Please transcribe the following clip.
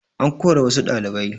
An kora wassu ɗalibai